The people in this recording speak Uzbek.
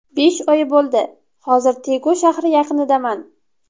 Besh oy bo‘ldi, hozir Tegu shahri yaqinidaman.